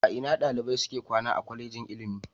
A ina dalibai suke kwana a Kwallejin ilimi?